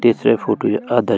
तेसर फोटू या आधा --